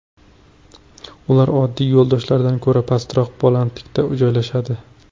Ular oddiy yo‘ldoshlardan ko‘ra pastroq balandlikda joylashadi.